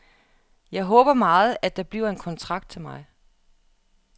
Jeg håber meget, at der bliver en kontrakt til mig.